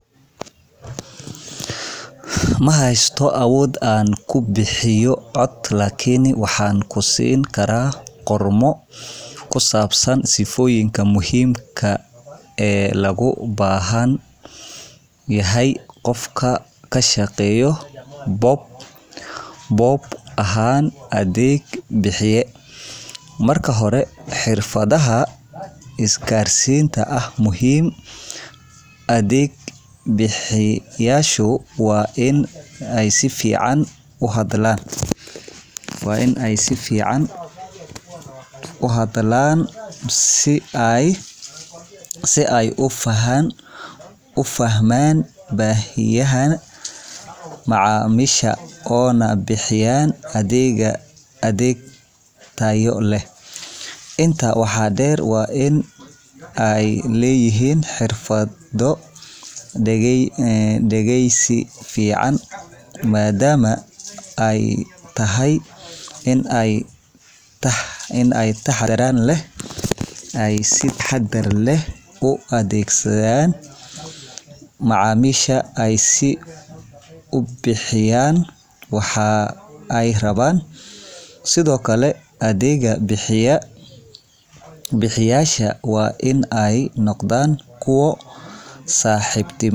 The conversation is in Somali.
Ma haysto awood aan ku bixiyo cod, laakiin waxaan ku siin karaa qormoku saabsan sababta ogaanshaha duumada goor hore ay muhiim u tahayiyo sida ay nolosha u badbaadin karto. Ogaanshaha duumada goor hore waa muhiim sababtoo ah waxaysiineysaa fursad lagu daweeyo cudurka waqtigiisa. Haddii la ogaadoduumada marka ay bilowdo, daaweyntu badanaa waa ka fudud tahay, waxaana suurtagal ah in la yareeyo saameynta ay ku leedahay jirka. Intaa waxaa dheer, ogaanshaha hore waxay ka caawisaa in la sameeyoqorshe caafimaad oo waxtar leh. Tani waxay ka dhigan tahay in qofka uuhelo daryeelka iyo taageerada loo baahan yahay si ay u wajahaan cudurka. Dhinaca kale, ogaanshaha duumada goor hore waxay sidoo kale saameynku yeelan kartaa xaaladaha shucuurta iyo nafsiga. Dadka ogaadacudurkooda waxay badanaa helaan fursado badan oo ay ka mid yihiintaageero bulsho iyo talooyin caafimaad, taasoo ka caawineysa in ay siwanaagsan u maareeyaan xaaladdooda. Ugu dambeyntii, daryeelka caafimaad iyo baaritaanka joogtada ah ayaamuhiim ah. Dadka waa in ay la xiriiraan dhakhaatiirta si ay u helaanbaaritaanno joogto ah oo ay ula socdaan xaaladooda caafimaad. Taniwaxay ka caawin kartaa in la ogaado duumada goor hore, taasoobadbaadin karta nolosha....